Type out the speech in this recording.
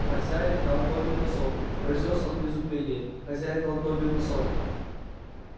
хозяин дал добби носок произнёс он в изумлении хозяин дал его добби